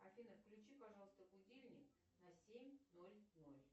афина включи пожалуйста будильник на семь ноль ноль